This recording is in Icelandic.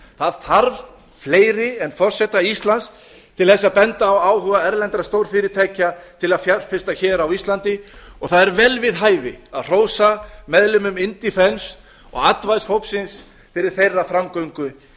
það þarf fleiri en forseta íslands til þess að benda á áhuga erlendra stórfyrirtækja til að fjárfesta hér á íslandi og það er vel við hæfi að hrósa meðlimum indefence og advice hópsins fyrir þeirra framgöngu